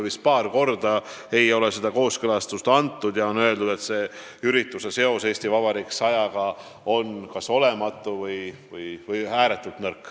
Vist paar korda ei ole seda kooskõlastust antud ja on öeldud, et ürituse seos "Eesti Vabariik 100-ga" on kas olematu või ääretult nõrk.